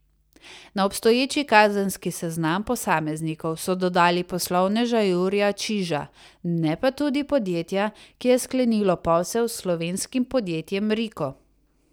Na obstoječi kazenski seznam posameznikov so dodali poslovneža Jurija Čiža, ne pa tudi podjetja, ki je sklenilo posel s slovenskim podjetjem Riko.